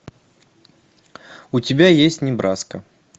у тебя есть небраска